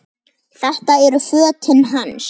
Þetta eru fötin hans!